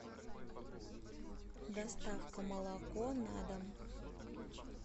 доставка молоко на дом